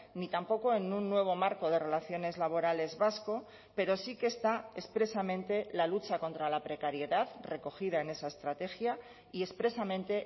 ni tampoco en un nuevo marco de relaciones laborales vasco pero sí que está expresamente la lucha contra la precariedad recogida en esa estrategia y expresamente